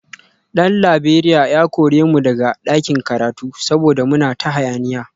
Dan Laberiya ya kore mu daga ɗakin karatu saboda muna ta hayaniya